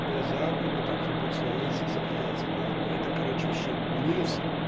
глаза вроде не так ебутся но у меня язык заплетается блять это короче вообще минус